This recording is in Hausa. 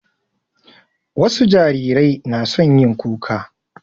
Wasu jarirai na son yin kuka.